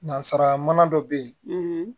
Nanzara mana dɔ bɛ yen